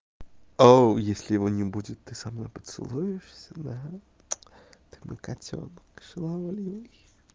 о у если его не будет ты со мной поцелуешься да ты мой котёнок шаловливый